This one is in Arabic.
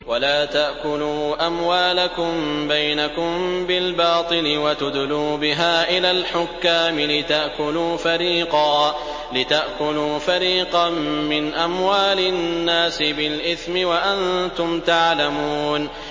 وَلَا تَأْكُلُوا أَمْوَالَكُم بَيْنَكُم بِالْبَاطِلِ وَتُدْلُوا بِهَا إِلَى الْحُكَّامِ لِتَأْكُلُوا فَرِيقًا مِّنْ أَمْوَالِ النَّاسِ بِالْإِثْمِ وَأَنتُمْ تَعْلَمُونَ